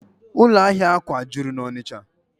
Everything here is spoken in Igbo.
Ụlọ ahịa akwà juru n'Ọnịcha